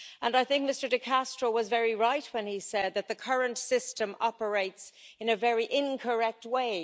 I think Mr De Castro was very right when he said that the current system operates in a very incorrect way.